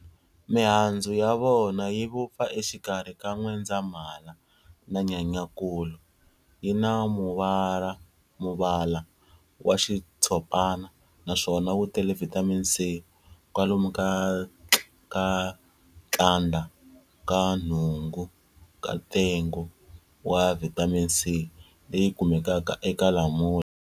Mihandzu ya vona yi vupfa exikarhi ka Nwendzamhala na Nyenyankulu, yi na muvala wa xitshopana naswona wu tele vitamin C, kwalomu ka tlandla ka nhungu ka ntengo wa Vitamin C leyi kumekaka eka Lamula